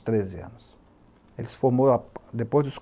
treze anos. Ele se formou depois dos